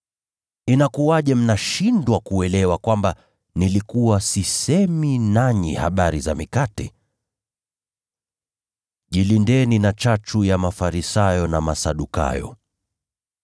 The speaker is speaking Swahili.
Inakuwaje mnashindwa kuelewa kwamba nilikuwa sisemi nanyi habari za mikate? Jilindeni na chachu ya Mafarisayo na Masadukayo.”